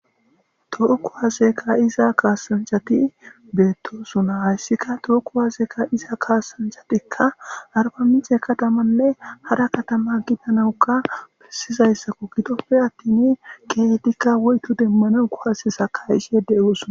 to kuwaseka ka'iza kasanchati iza kaasanjhati beettosuna hayssikka tookku waazeeka iza kaasanchatikka arpamice katamanne hara katama gidanawukka pisizayssakko gidoppe attini keetikka woytu demmana kuhasesakayisiyedde oosuna